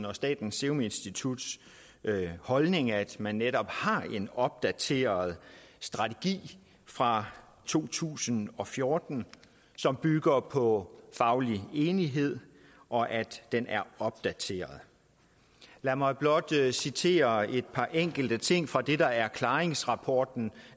og statens serum instituts holdning altså at man netop har en opdateret strategi fra to tusind og fjorten som bygger på faglig enighed og at den er opdateret lad mig blot citere et par enkelte ting fra det der er klaringsrapporten